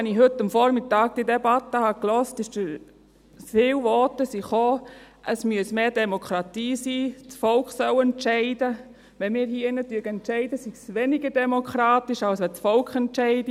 Als ich heute Morgen die Debatte hörte, gab es viele Voten, es müsse mehr Demokratie sein, das Volk solle entscheiden, wenn wir hier im Ratssaal entschieden, sei es weniger demokratisch, als wenn das Volk entscheide.